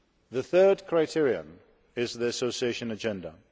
The third criterion is the Association Agenda.